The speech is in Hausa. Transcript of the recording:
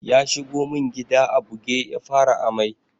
Ya shigo mun gida a buge ya fara ammai.